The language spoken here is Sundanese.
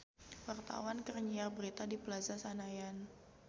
Wartawan keur nyiar berita di Plaza Senayan